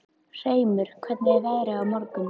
Hreimur, hvernig er veðrið á morgun?